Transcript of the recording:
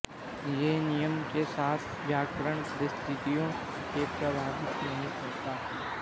यह नियम के साथ व्याकरण परिस्थितियों को प्रभावित नहीं करता